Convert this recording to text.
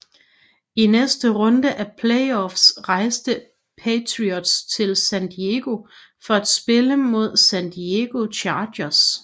I næste runde af playoffs rejste Patriots til San Diego for at spille mod San Diego Chargers